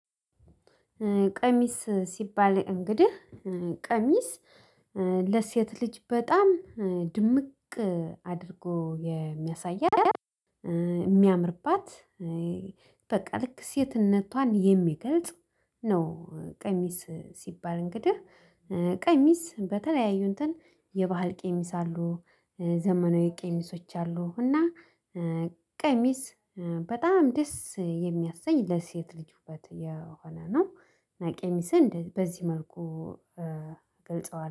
ቀሚስ ሲባል እንግዲህ ቀሚስ ለሴት ልጅ በጣም ድምቅ አድርጎ የሚያሳይ የሚያምርባት በቃ ልክ ሴትነቷን የሚገልጽ ነው። ቀሚስ ሲባል እንግዲህ ቀሚስ በተለያዩ እንትን የባህል ቀሚስ አሉ ዘመናዊ ቀሚሶች አሉ። እና ቀሚስ በጣም ደስ የሚያሰኝ ለሴት ልጅ ውበት የሆነ ነው። እና ቀሚስን በዚህ መልኩ ገልጸዋሁ